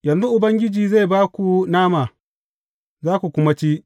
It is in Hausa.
Yanzu Ubangiji zai ba ku nama, za ku kuma ci.